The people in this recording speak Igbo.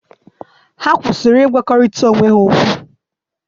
Ha kwụsịrị ịgwarịta onwe ha okwu.